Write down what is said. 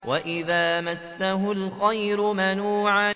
وَإِذَا مَسَّهُ الْخَيْرُ مَنُوعًا